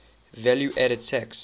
value added tax